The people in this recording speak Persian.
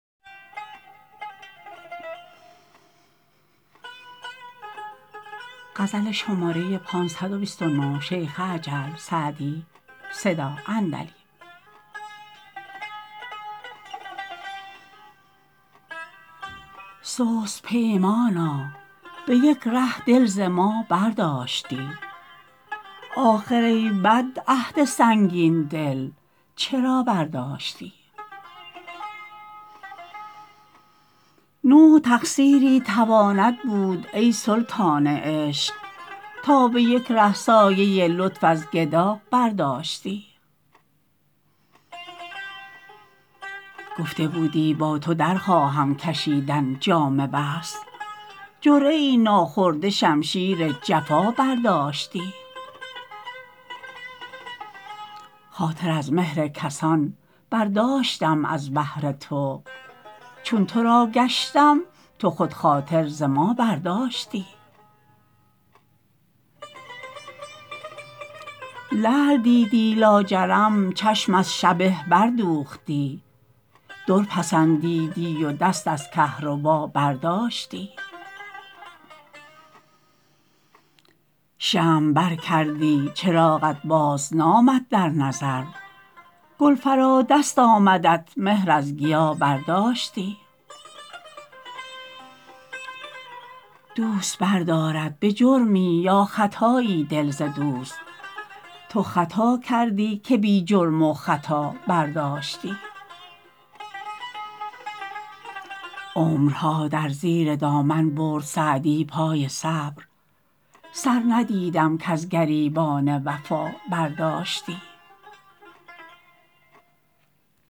سست پیمانا به یک ره دل ز ما برداشتی آخر ای بد عهد سنگین دل چرا برداشتی نوع تقصیری تواند بود ای سلطان عشق تا به یک ره سایه لطف از گدا برداشتی گفته بودی با تو در خواهم کشیدن جام وصل جرعه ای ناخورده شمشیر جفا برداشتی خاطر از مهر کسان برداشتم از بهر تو چون تو را گشتم تو خود خاطر ز ما برداشتی لعل دیدی لاجرم چشم از شبه بردوختی در پسندیدی و دست از کهربا برداشتی شمع بر کردی چراغت بازنامد در نظر گل فرا دست آمدت مهر از گیا برداشتی دوست بردارد به جرمی یا خطایی دل ز دوست تو خطا کردی که بی جرم و خطا برداشتی عمرها در زیر دامن برد سعدی پای صبر سر ندیدم کز گریبان وفا برداشتی